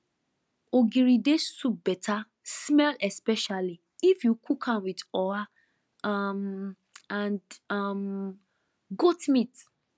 ogiri dey soup better smell especially if you cook am with oha um and um goat meat